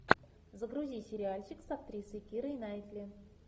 загрузи сериальчик с актрисой кирой найтли